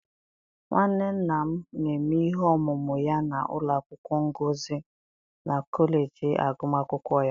nwanne nna m, na-eme ihe ọmụmụ ya na ụlọ akwụkwọ ngosi na kọleji agụmakwụkwọ ya.